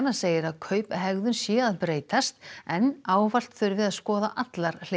segir að kauphegðun sé að breytast en ávallt þurfi að skoða allar hliðar